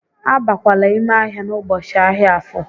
A bakwala ime ahia n'ụbọchị ahịa Afo!